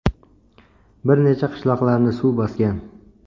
Bir necha qishloqlarni suv bosgan.